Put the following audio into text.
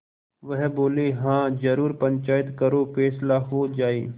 वह बोलेहाँ जरूर पंचायत करो फैसला हो जाय